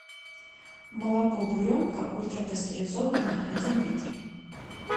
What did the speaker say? молоко буренка ультрапастеризованное один литр